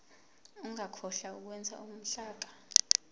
ungakhohlwa ukwenza uhlaka